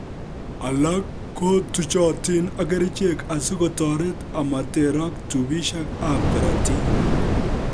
Alak ko tuchotin ak kerichek asikotoret amoterok tubisiek ab korotik